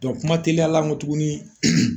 kuma teliya la kɔ tuguni